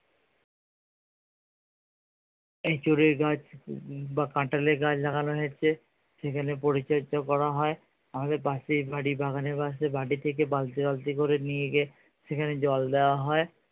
এঁচোড়ের গাছ বা কাঁঠালের গাছ লাগানো হয়েছে সেখানে পরিচার্য করা হয়। আমাদের পাশের বাড়ি বাগানের পাশে বাড়ি থেকে বালতি বালতি করে নিয়ে গিয়ে সেখানে জল দেওয়া হয়।